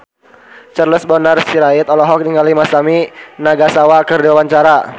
Charles Bonar Sirait olohok ningali Masami Nagasawa keur diwawancara